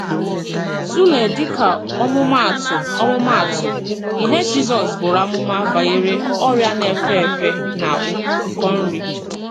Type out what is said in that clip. Tụlee, díkà ọmụmaatụ, ọmụmaatụ, ihe Jizọs bùrù amụma banyere “ọrịa nā-efe efe na ụkọ nri.”